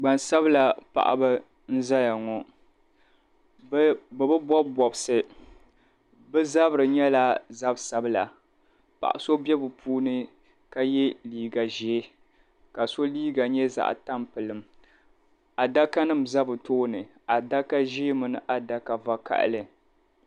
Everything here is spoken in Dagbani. Gbansabla paɣaba n zaya ŋɔ bɛ bi bobi bobisi bɛ zabri nyɛla zab'sabila paɣa so be bɛ puuni ka ye liiga ʒee ka so liiga nyɛ zaɣa tampilim adaka nima za bɛ tooni adaka ʒee mini adaka vakahali.